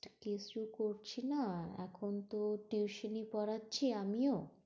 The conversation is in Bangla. কিছু করছি না, এখন তো টিউশনি পড়াচ্ছি আমিও।